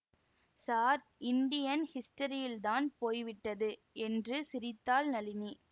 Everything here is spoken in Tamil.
ஸார் இண்டியன் ஹிஸ்டரியில்தான் போய்விட்டது என்று சிரித்தாள் நளினி